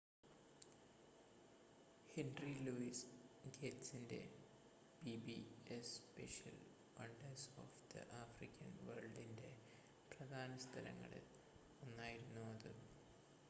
henry Louis ഗേറ്റ്സിൻ്റെ PBS special wonders of the African വേൾഡിൻ്റെ പ്രധാന സ്ഥലങ്ങളിൽ ഒന്നായിരുന്നു അത്